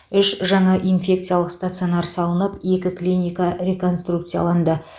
үш жаңа инфекциялық стационар салынып екі клиника реконструкцияланды